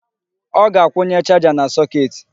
Ọ ga-akwunye charger na socket.